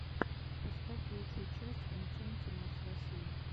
поставь лучшую часть энчантималс россии